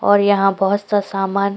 और यहाँ बहुत सा सामान --